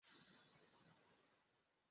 Ịchọghị iri ofe ose ose echi?